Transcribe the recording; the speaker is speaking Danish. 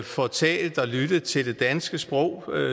får talt og lyttet til det danske sprog